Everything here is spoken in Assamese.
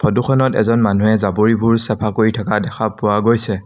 ফটোখনত এজন মানুহে জাৱৰিবোৰ চাফা কৰি থকা দেখা পোৱা গৈছে।